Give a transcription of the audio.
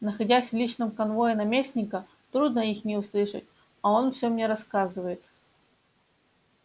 находясь в личном конвое наместника трудно их не услышать а он всё мне рассказывает